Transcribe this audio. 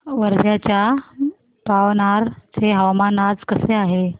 वर्ध्याच्या पवनार चे हवामान आज कसे आहे